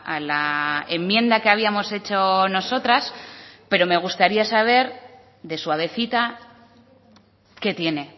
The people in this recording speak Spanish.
a la enmienda que habíamos hecho nosotras pero me gustaría saber de suavecita qué tiene